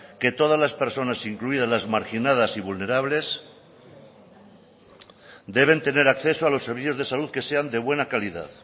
que todas las personas incluidas las marginadas y vulnerables deben tener acceso a los servicios de salud que sean de buena calidad